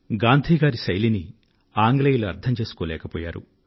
గాంధీ గారి ఈ విధి విధానాలను ఆంగ్లేయులు అర్థం చేసుకోలేకపోయారు